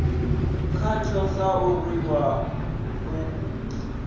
khatsho sa u rwiwa u